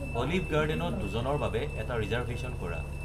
olive গাৰ্ডেনত দুজনৰ বাবে এটা ৰিজাৰ্ভেশ্যন কৰা